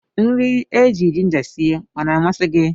Nri éjị Jinja sie ọ na-amasi gị?